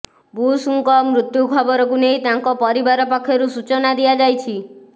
ବୁଶ୍ଙ୍କ ମୃତ୍ୟୁ ଖବରକୁ ନେଇ ତାଙ୍କ ପରିବାର ପକ୍ଷରୁ ସୂଚନା ଦିଆଯାଇଛି